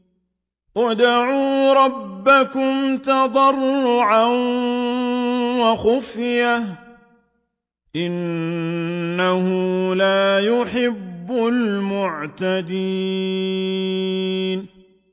ادْعُوا رَبَّكُمْ تَضَرُّعًا وَخُفْيَةً ۚ إِنَّهُ لَا يُحِبُّ الْمُعْتَدِينَ